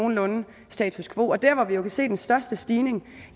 nogenlunde status quo og der hvor vi jo kan se den største stigning